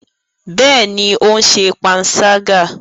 Bẹẹni, o n ṣe panṣaga